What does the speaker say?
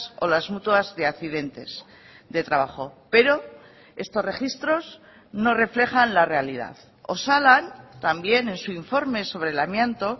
o las mutuas de accidentes de trabajo pero estos registros no reflejan la realidad osalan también en su informe sobre el amianto